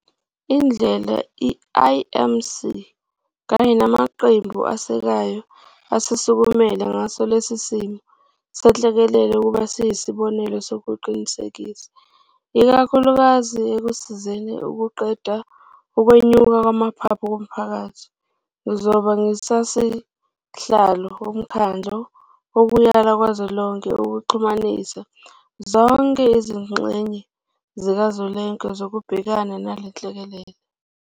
Indlela i-IMC kanye namaqembu asekayo asisukumele ngaso lesi simo senhlekelele kube yisibonelo nokuqinisekisa, ikakhulukazi ekusizeni ukuqeda ukwenyuka kwamaphaphu komphakathi. Ngizobe ngingusihlalo Womkhandlu Wokuyala Kazwelonke ukuxhumanisa zonke izingxenye zikazwelonke zokubhekana nale nhlekelele.